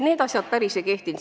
Need asjad päris ei läinud.